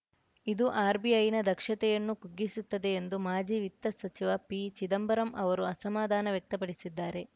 ಇದು ಆರ್‌ಬಿಐನ ದಕ್ಷತೆಯನ್ನು ಕುಗ್ಗಿಸುತ್ತದೆ ಎಂದು ಮಾಜಿ ವಿತ್ತ ಸಚಿವ ಪಿಚಿದಂಬರಂ ಅವರು ಅಸಮಾಧಾನ ವ್ಯಕ್ತಪಡಿಸಿದ್ದಾರೆ